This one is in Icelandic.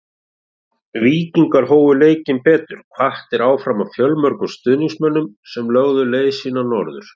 Víkingar hófu leikinn betur hvattir áfram af fjölmörgum stuðningsmönnum sem lögðu leið sína norður.